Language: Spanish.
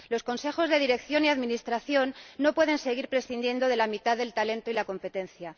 Los consejos de dirección y administración no pueden seguir prescindiendo de la mitad del talento y de la competencia.